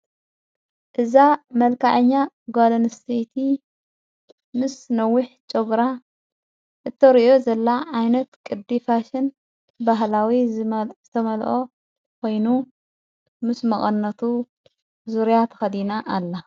እዛ መልካአኛ ጓልንስቲ ምስ ነዊሕ ጨጕራ እተርእዮ ዘላ ዓይነት ቅዲፋሽን ባህላዊ ዝተመልኦ ኮይኑ ምስ መቐነቱ ዙርያት ኸዲና ኣለ።